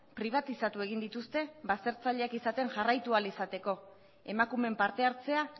pribatizatu egin dituzte baztertzaileak izaten jarraitu ahal izateko emakumeen parte hartzea